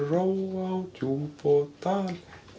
ró á djúp og dal